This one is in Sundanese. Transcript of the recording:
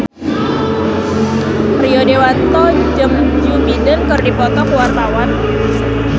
Rio Dewanto jeung Joe Biden keur dipoto ku wartawan